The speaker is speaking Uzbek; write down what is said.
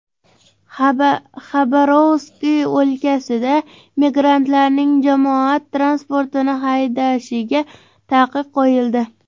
Xabarovsk o‘lkasida migrantlarning jamoat transportini haydashiga taqiq qo‘yildi.